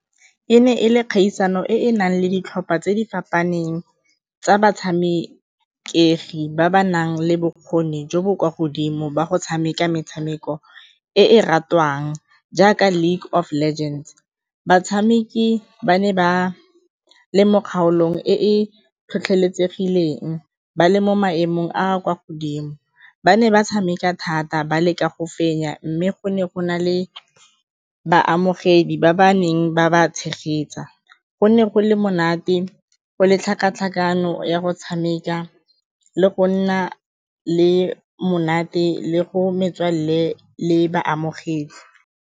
E ne e le kgaisano e e nang le ditlhopha tse di fapaneng tsa batshameki ba ba nang le bokgoni jo bo kwa godimo ba go tshameka metshameko e e ratiwang jaaka League of Legends. Batshameki ba ne ba le mo kgaolong e e tlhotlheletsegileng, ba le mo maemong a a kwa godimo, ba ne ba tshameka thata ba leka go fenya mme go ne go na le baamogedi ba ba neng ba ba tshegetsa, go ne go le monate go le tlhakatlhakano ya go tshameka le go nna le monate le go metswalle le baamogedi.